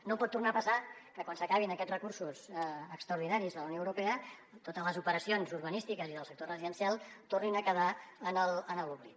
no pot tornar a passar que quan s’acabin aquests recursos extraordinaris de la unió europea totes les operacions urbanístiques i del sector residencial tornin a quedar en l’oblit